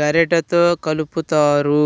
గరిటెతో కలుపుతారు